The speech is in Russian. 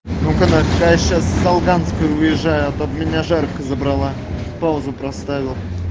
ну-ка на сейчас с долганской уезжаю от меня жарко забрала паузу проставил